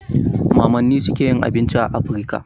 Mamanni suke yin abinci a Afrika.